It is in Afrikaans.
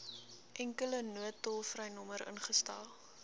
enkele noodtolvrynommer ingestel